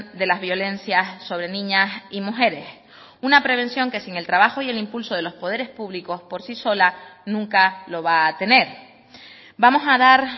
de las violencias sobre niñas y mujeres una prevención que sin el trabajo y el impulso de los poderes públicos por sí sola nunca lo va a tener vamos a dar